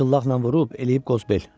At şıllaqla vurub eləyib qoz bel.